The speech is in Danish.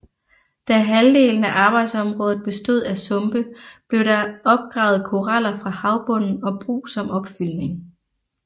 Da halvdelen af arbejdsområdet bestod af sumpe blev der opgravet koraller fra havbunden og brug som opfyldning